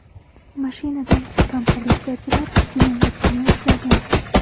Mashinadan chiqqan politsiyachilar jinoyatchini ushlagan.